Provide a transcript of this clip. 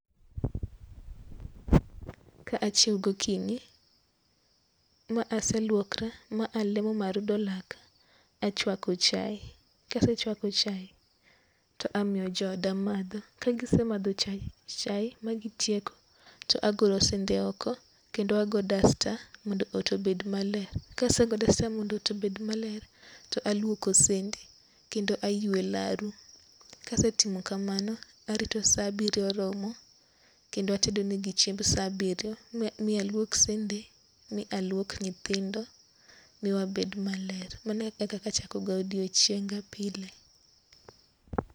Ka acjhiewo go okinyi ma aseluokora ,ma alemo, ma arudho laka ,achwako chae ka asechwako chae to amiyo jo oda madho. Ka gi se madho chae ma gi tieko to agolo sende oko to ago dasta mondo ot obed ma ler. Ka asego dasta mondo ot obed ma ler to alwoko sende kendo aywe laro. Ka asetimo kamano kendo arito sa abiriyo romo kendo atedo ne gi chiemb sa abiriyo mi alwok sende, mi alwok nyithindo mi wabed ma ler. Mano kaka achako go odiechienga pile.